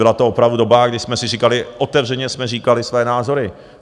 Byla to opravdu doba, kdy jsme si říkali, otevřeně jsme říkali své názory.